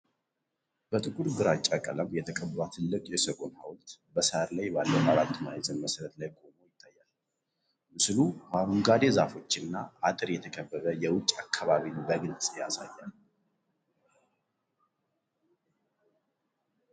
ጥቁርና ግራጫ ቀለም የተቀባ ትልቅ የሰጎን ሐውልት በሳር ላይ ባለው አራት ማዕዘን መሠረት ላይ ቆሞ ይታያል። ምስሉ በአረንጓዴ ዛፎችና አጥር የተከበበ የውጭ አከባቢን በግልጽ ያሳያል።